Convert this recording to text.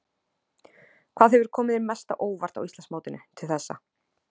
Hvað hefur komið þér mest á óvart á Íslandsmótinu til þessa?